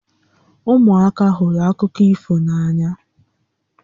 Ụmụaka hụrụ akụkọ ifo n'ànyà